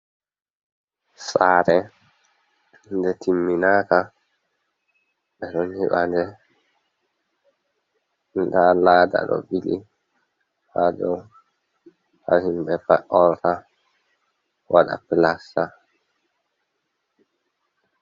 Sare nde timminaka bedoniɓande, da lada do ɓili hado ha himɓe vaorta wada plasma.